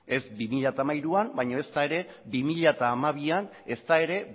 ez bi mila hamairuan baino ezta ere bi mila hamabian ezta ere